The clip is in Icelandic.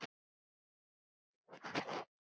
Þetta er mikill spuni.